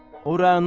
O Rəna.